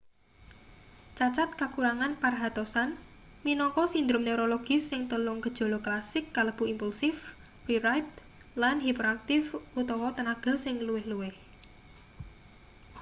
cacad kakurangan perhatosan minangka sindrom neurologis sing telung gejala klasik kalebu impulsif reribed lan hiperaktif utawa tenaga sing luwih-luwih